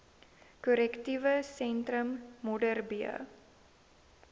korrektiewe sentrum modderbee